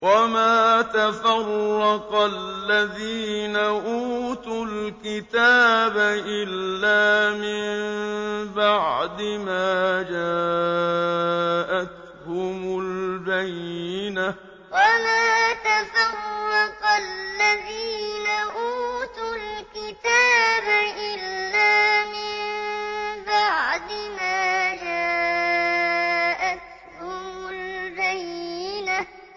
وَمَا تَفَرَّقَ الَّذِينَ أُوتُوا الْكِتَابَ إِلَّا مِن بَعْدِ مَا جَاءَتْهُمُ الْبَيِّنَةُ وَمَا تَفَرَّقَ الَّذِينَ أُوتُوا الْكِتَابَ إِلَّا مِن بَعْدِ مَا جَاءَتْهُمُ الْبَيِّنَةُ